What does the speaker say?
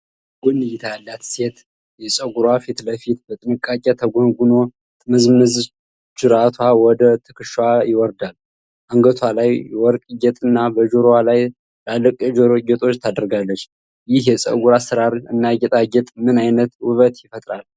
የጎን እይታ ያላት ሴት የፀጉር ፊትለፊቱ በጥንቃቄ ተጎንጉኖ፣ ጥምዝምዝ ጅራቷ ወደ ትከሻዋ ይወርዳል። አንገቷ ላይ የወርቅ ጌጥ እና በጆሮዋ ላይ ትላልቅ የጆሮ ጌጦች ታደርጋለች። ይህ የፀጉር አሠራር እና ጌጣጌጥ ምን አይነት ውበት ይፈጥራል?